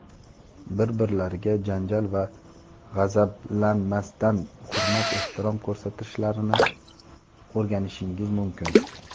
bir-birlariga janjal va g‘azablanmasdan hurmat-ehtirom ko‘rsatishlarini o‘rganishingiz mumkin.